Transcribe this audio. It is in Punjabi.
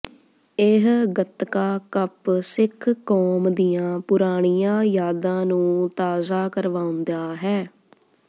ਇਹ ਗੱਤਕਾ ਕੱਪ ਸਿੱਖ ਕੌਮ ਦੀਆਂ ਪੁਰਾਣੀਆਂ ਯਾਦਾਂ ਨੂੰ ਤਾਜ਼ਾ ਕਰਵਾਉਂਦਾ ਹੈ